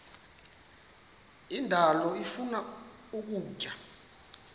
indalo ifuna ukutya